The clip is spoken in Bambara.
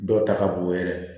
Dɔw ta ka bon yɛrɛ